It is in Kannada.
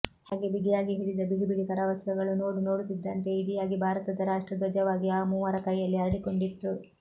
ಹ್ಹಾಗೆ ಬಿಗಿಯಾಗಿ ಹಿಡಿದ ಬಿಡಿ ಬಿಡಿ ಕರವಸ್ತ್ರಗಳು ನೋಡುನೋಡುತ್ತಿದ್ದಂತೆ ಇಡಿಯಾಗಿ ಭಾರತದ ರಾಷ್ಟ್ರ ದ್ವಜವಾಗಿ ಆ ಮೂವರ ಕೈಯಲ್ಲಿ ಅರಳಿಕೊಂಡಿತ್ತು